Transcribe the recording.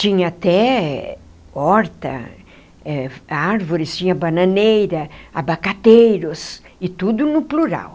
Tinha até horta eh, árvores, tinha bananeira, abacateiros, e tudo no plural.